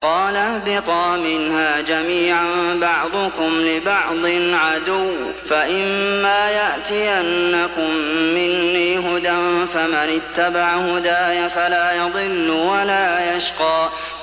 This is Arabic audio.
قَالَ اهْبِطَا مِنْهَا جَمِيعًا ۖ بَعْضُكُمْ لِبَعْضٍ عَدُوٌّ ۖ فَإِمَّا يَأْتِيَنَّكُم مِّنِّي هُدًى فَمَنِ اتَّبَعَ هُدَايَ فَلَا يَضِلُّ وَلَا يَشْقَىٰ